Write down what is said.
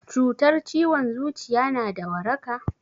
Cutar ciwon zuciya na da waraka?